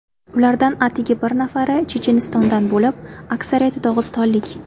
Ulardan atigi bir nafari Chechenistondan bo‘lib, aksariyati dog‘istonlik.